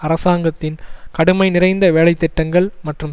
அரசாங்கத்தின் கடுமை நிறைந்த வேலைத்திட்டங்கள் மற்றும்